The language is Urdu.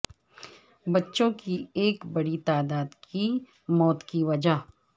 بچوں کی ایک بڑی تعداد کی موت کی وجہ